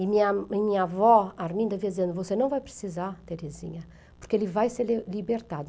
E minha e minha avó, Arminda, dizia, você não vai precisar, Teresinha, porque ele vai ser libertado.